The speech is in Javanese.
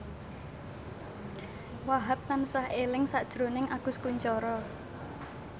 Wahhab tansah eling sakjroning Agus Kuncoro